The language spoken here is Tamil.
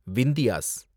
விந்தியாஸ்